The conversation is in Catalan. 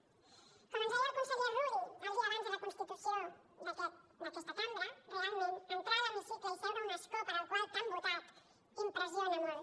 com ens deia el conseller rull el dia abans de la constitució d’aquesta cambra realment entrar a l’hemicicle i seure a un escó per al qual t’han votat impressiona molt